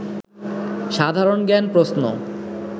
সাধারণ জ্ঞান প্রশ্ন